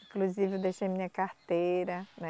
Inclusive eu deixei minha carteira, né?